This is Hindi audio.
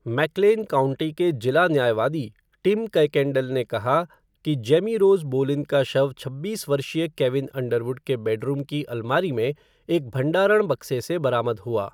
मैकक्लेन काउंटी के जिला न्यायवादी टिम कयकेंडल ने कहा कि जेमी रोज़ बोलिन का शव छब्बीस वर्षीय केविन अंडरवुड के बेडरूम की अलमारी में एक भंडारण बक्से से बरामद हुआ।